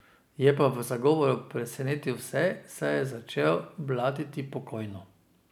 Je pa v zagovoru presenetil vse, saj je začel blatiti pokojno.